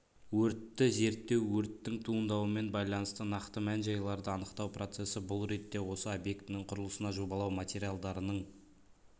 өртті зерттеу өрттің туындауымен байланысты нақты мән-жайларды анықтау процессі бұл ретте осы объектінің құрылысына жобалау материалдарының